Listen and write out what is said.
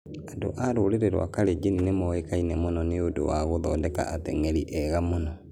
Andũ a rũrĩrĩ rwa Kalenjin nĩ moĩkaine mũno nĩ ũndũ wa gũthondeka ateng'eri ega mũno.